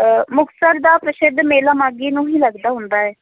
ਅਹ ਮੁਕਤਸਰ ਦਾ ਪ੍ਰਸਿੱਧ ਮੇਲਾ ਮਾਘੀ ਨੂੰ ਹੀ ਲੱਗਦਾ ਹੁੰਦਾ ਹੈ,